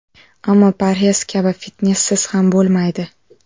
Ammo parhez kabi, fitnessiz ham bo‘lmaydi.